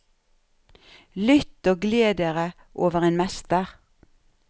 Lytt og gled dere over en mester.